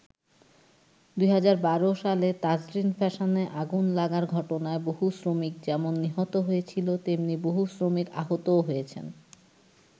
২০১২ সালে তাজরিন ফ্যাশন্সে আগুন লাগার ঘটনায় বহু শ্রমিক যেমন নিহত হয়েছিল, তেমনি বহু শ্রমিক আহতও হয়েছেন।